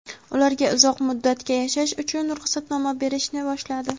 ularga uzoq muddatga yashash uchun ruxsatnoma berishni boshladi.